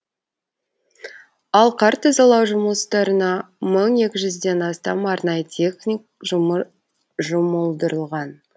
ал қар тазалау жұмыстарына мың екі жузден астам арнайы техник жұмылдырылған